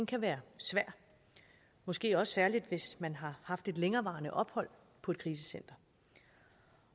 kan være svær måske også særlig hvis man har haft et længerevarende ophold på et krisecenter